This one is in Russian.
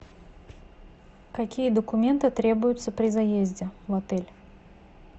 какие документы требуются при заезде в отель